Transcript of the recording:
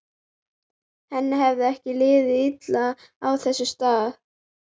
Henni hefur ekki liðið illa á þessum stað.